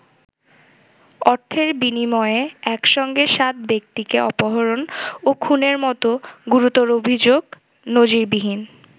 অর্থের বিনিময়ে একসঙ্গে সাত ব্যক্তিকে অপহরণ ও খুনের মতো গুরুতর অভিযোগ নজিরবিহীন।